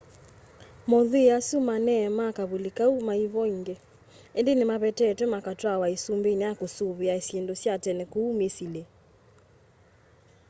mothwii asu manee ma kavuli kau maivo ingi indi nimavetetwe makatwawa isumbani ya kusuvia syindu sya tene ku misili